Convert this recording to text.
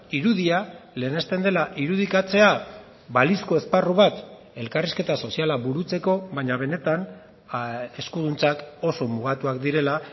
irudia lehenesten dela irudikatzea balizko esparru bat elkarrizketa soziala burutzeko baina benetan eskuduntzak oso mugatuak direla